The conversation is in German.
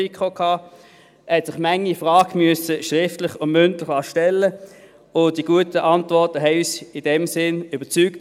Er musste sich manche Frage schriftlich und mündlich stellen lassen, und die guten Antworten haben uns in dem Sinn überzeugt.